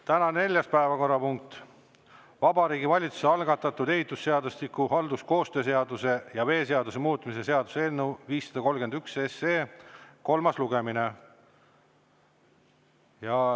Tänane neljas päevakorrapunkt: Vabariigi Valitsuse algatatud ehitusseadustiku, halduskoostöö seaduse ja veeseaduse muutmise seaduse eelnõu 531 kolmas lugemine.